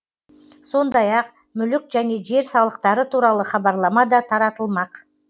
сондай ақ мүлік және жер салықтары туралы хабарлама да таратылмақ